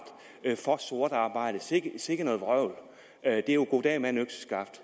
er for sort arbejde sikke noget vrøvl det er jo goddag mand økseskaft